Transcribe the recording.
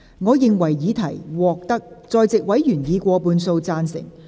我認為議題獲得在席委員以過半數贊成。